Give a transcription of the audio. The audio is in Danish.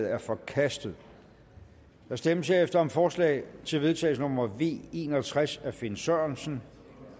er forkastet der stemmes herefter om forslag til vedtagelse nummer v en og tres af finn sørensen